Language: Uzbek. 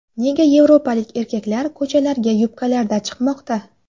Nega yevropalik erkaklar ko‘chalarga yubkalarda chiqmoqda?.